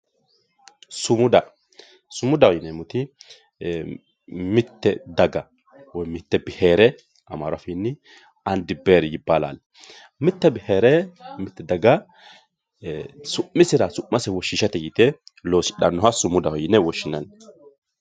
sumuda sumudaho yineemmoti mitte daga woy mitte bihere amaaru afiinni andi biheri yibaalaali mitte bihere mitte daga su'misera su'mase woshhsiishate yite loosidhannoha sumudaho yine woshhsinanni.